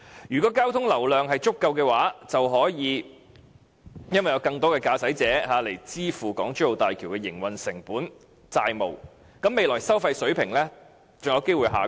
如果交通流量足夠，便可以由更多的駕駛者支付港珠澳大橋的營運成本及債務，未來收費水平便有機會下降。